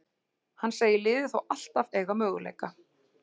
Hann segir liðið þó alltaf eiga möguleika.